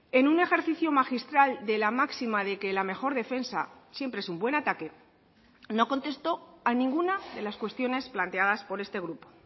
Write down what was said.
en un ejercicio magistral de la máxima de que la mejor defensa siempre es un buen ataque no contestó a ninguna de las cuestiones planteadas por este grupo